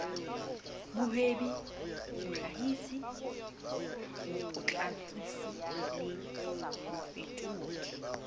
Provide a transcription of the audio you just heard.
mohwebi mohlahisi mopotlakisi le mofetodi